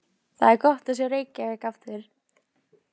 Það er gott að sjá Reykjavík aftur.